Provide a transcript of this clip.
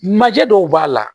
Manje dɔw b'a la